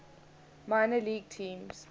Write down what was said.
minor league teams